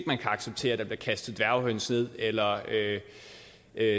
man kan acceptere at der bliver kastet dværghøns ned eller